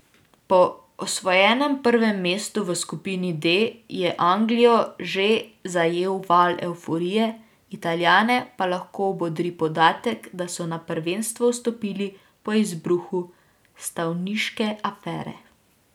Po osvojenem prvem mestu v skupini D je Anglijo že zajel val evforije, Italijane pa lahko bodri podatek, da so na prvenstvo vstopili po izbruhu stavniške afere.